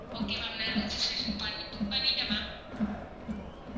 Okay ma'am நா registration பண்~ book பண்ணிட்ட ma'am